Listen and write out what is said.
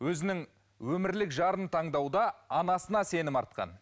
өзінің өмірлік жарын таңдауда анасына сенім артқан